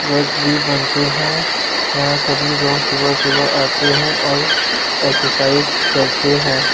God's भी बनते हैं यहाँ सभी लोग सुबह-सुबह आते हैं और एक्सरसाइज करते हैं।